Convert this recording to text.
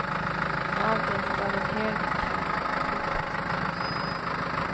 Avgränsat av en hög, karg klippa.